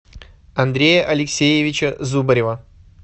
андрея алексеевича зубарева